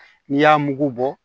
N'i y'a mugu bɔ